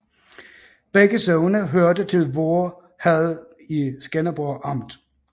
Begge sogne hørte til Voer Herred i Skanderborg Amt